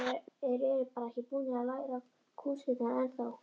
Þeir eru bara ekki búnir að læra kúnstirnar ennþá.